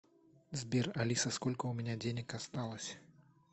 сбер алиса сколько у меня денег осталось